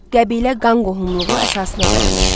Qəbilə qan qohumluğu əsasına dayanırdı.